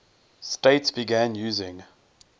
states began using